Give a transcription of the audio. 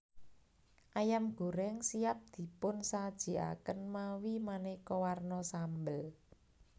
Ayam goreng siap dipunsajikaken mawi maneka warna sambel